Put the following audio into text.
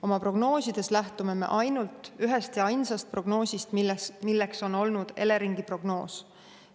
Oma prognoosides lähtume me ainult ühest ja ainsast prognoosist, milleks on olnud Eleringi prognoos.